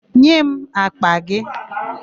Nye m àkpà gị!